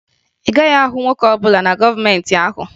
Ị gaghị ahụ nwoke ọbụla na kọnventi ahụ